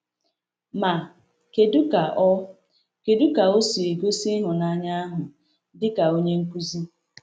Ma, kedu ka o kedu ka o si gosi ịhụnanya ahụ dị ka onye nkuzi?